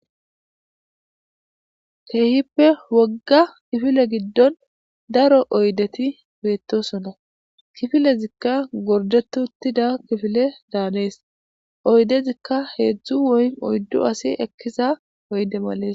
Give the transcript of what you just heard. Keehippe wogga kifile giddon daro oydeti beettoosona. Kifilezikka gorddetti uttida kifile daanes.oydezikka hedz woy oyddu ase ekkiza oyde males.